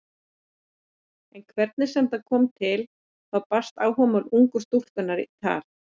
En hvernig sem það kom til þá barst áhugamál ungu stúlkunnar í tal.